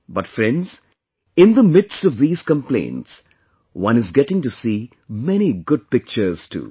But friends, in the midst of these complaints, one is getting to see many good pictures too